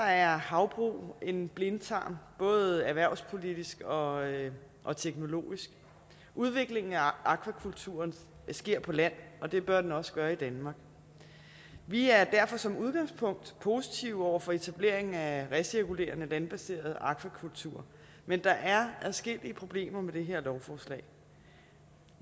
er havbrug en blindtarm både erhvervspolitisk og og teknologisk udviklingen af akvakulturen sker på land og det bør den også gøre i danmark vi er derfor som udgangspunkt positive over for etablering af recirkulerende landbaseret akvakultur men der er adskillige problemer med det her lovforslag